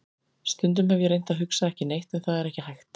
Stundum hef ég reynt að hugsa ekki neitt en það er ekki hægt.